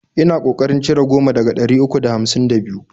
Ina ko karin cire goma daga ɗari uku da hamsin da biyu